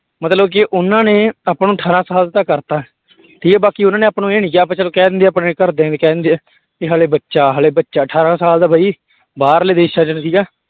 ਮਤਲਬ ਕਿ ਉਹਨਾਂ ਨੇ ਆਪਾਂ ਨੂੰ ਅਠਾਰਾਂ ਸਾਲ ਦਾ ਕਰ ਦਿੱਤਾ ਠੀਕ ਹੈ ਬਾਕੀ ਉਹਨਾਂ ਨੇ ਆਪਾਂ ਨੂੰ ਇਹ ਨੀ ਕਿਹਾ ਆਪਾਂ ਚੱਲ ਕਹਿ ਦਿੰਦੇ ਆ, ਆਪਣੇ ਘਰਦੇ ਵੀ ਕਹਿ ਦਿੰਦੇ ਆ, ਵੀ ਹਾਲੇ ਬੱਚਾ ਹਾਲੇ ਬੱਚਾ ਅਠਾਰਾਂ ਸਾਲ ਦਾ ਬਾਈ ਬਾਹਰਲੇ ਦੇਸਾਂ ਚ ਠੀਕ ਹੈ